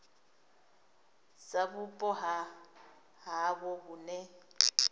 dza vhupo ha havho hune